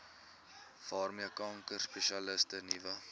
waarmee kankerspesialiste nuwe